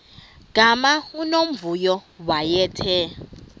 gama unomvuyo wayethe